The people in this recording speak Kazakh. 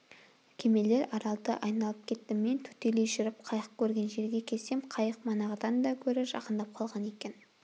кемелер аралды айналып кетті мен төтелей жүріп қайық көрген жерге келсем қайық манағыдан да гөрі жақындап қалған екен